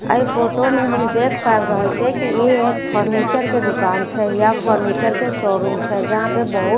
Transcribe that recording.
एहि फोटो मे हम देख पाबि रहल छिए की ई एक फर्नीचर के दुकान छै या फर्नीचर के शोरूम छै जहां पर बहुत सारा--